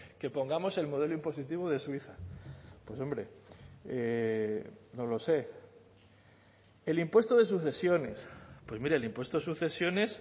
que pongamos el modelo impositivo de suiza pues hombre no lo sé el impuesto de sucesiones pues mire el impuesto de sucesiones